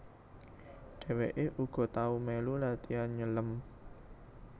Dheweke uga tau melu latian nyelem